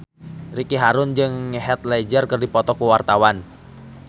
Ricky Harun jeung Heath Ledger keur dipoto ku wartawan